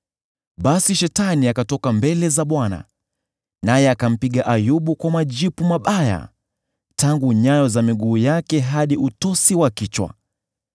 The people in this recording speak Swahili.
Basi Shetani akatoka mbele za Bwana naye akampiga Ayubu kwa majipu mabaya tangu nyayo za miguu yake hadi utosi wa kichwa.